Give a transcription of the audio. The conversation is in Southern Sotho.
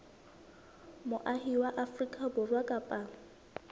moahi wa afrika borwa kapa